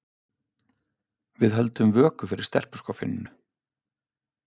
Við höldum vöku fyrir stelpuskoffíninu.